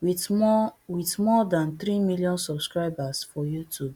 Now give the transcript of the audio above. wit more wit more dan three million subscribers for youtube